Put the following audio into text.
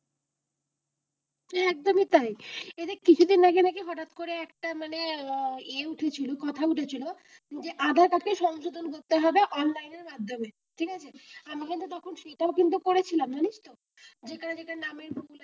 একদমই তাই এই যে কিছুদিন আগে নাকি হঠাৎ করে আহ একটা মানে এ উঠেছিল কথা উঠেছিল যে আধার কার্ডের সংশোধন করতে হবে অনলাইনে মাধ্যমে ঠিক আছে আমরা তখন সেটাও কিন্তু করেছিলাম। জানিস তো যেটা যেটা নামের ভুল,